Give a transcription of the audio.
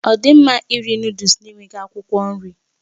Ọ dị mma iri Nụ́dúls na-enweghị akwụkwọ nri?